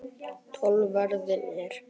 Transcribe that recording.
Tollverðirnir gengu fylktu liði á land.